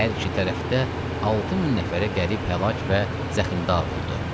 Hər iki tərəfdə 6 min nəfərə qərib həlak və zəximdar oldu.